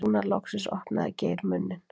Núna loksins opnaði Geir munninn.